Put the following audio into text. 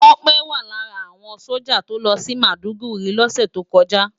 Tope wá lárà áwòn sójá tó lòsi Mádúgùri lòsè tókòjá